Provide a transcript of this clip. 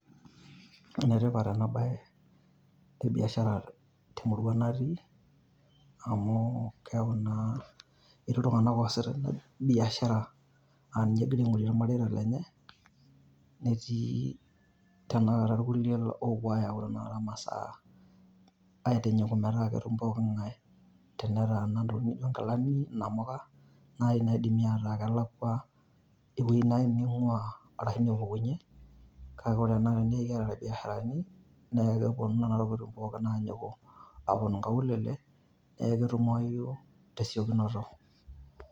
Ene tipat ena bae e biashara te murua natii amu keaku naa etii iltung`anak oasita ina biashara. Laa ninche egira aing`orie ilmareita lenye netii tenakata ilkulie opuo aayau tenakata masaa aitinyiku metaa ketum poki ng`ae. Tenetaana ntokitin naijo nkilani , namuka nai naidimi ataa kelakua ewueji naaji neing`uaa ashu nepukunyie kake ore tenakata teniaku ekiata ilbiasharani niaku keponu nena tokitin aajiku aaponu nkaulilie niakun ketumoyu tesiokinoto.